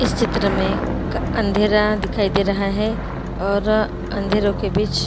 इस चित्र में अंधेरा दिखाई दे रहा है और अँधेरों के बीच